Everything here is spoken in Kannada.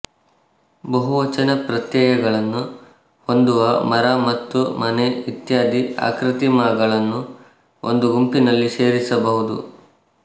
ಬಹುವಚನ ಪ್ರತ್ಯಯಗಳನ್ನು ಹೊಂದುವ ಮರ ಮತ್ತು ಮನೆ ಇತ್ಯಾದಿ ಆಕೃತಿಮಾಗಳನ್ನು ಒಂದು ಗುಂಪಿನಲ್ಲಿ ಸೇರಿಸಬಹುದು